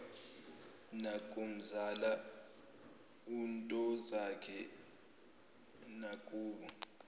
nakumzala untozakhe nakubo